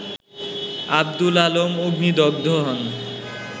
আব্দুল আলম অগ্নিদগ্ধ হন